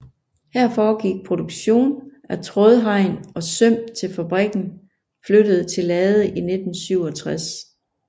Her foregik produkstion af trådhegn og søm til fabrikken flyttede til Lade i 1967